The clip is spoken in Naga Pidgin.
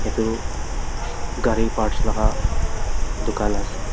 edu gari parts laka dukan ase.